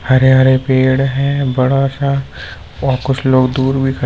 हरे हरे पेड़ है बड़ा सा और कुछ लोग दूर भी खड़े--